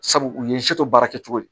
Sabu u ye baara kɛ cogo di